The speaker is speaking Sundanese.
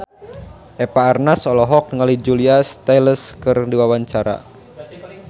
Eva Arnaz olohok ningali Julia Stiles keur diwawancara